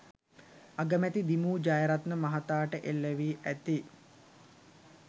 අගමැති දි.මු ජයරත්න මහතාට එල් වී ඇති